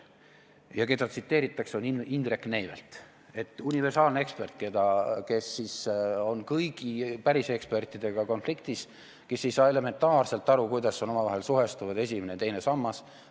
See, keda tsiteeritakse, on Indrek Neivelt, universaalne ekspert, kes on kõigi pärisekspertidega konfliktis, kes ei saa elementaarselt aru, kuidas on omavahel suhestunud esimene ja teine sammas.